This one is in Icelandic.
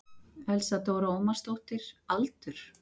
Elsa Dóra Ómarsdóttir Aldur?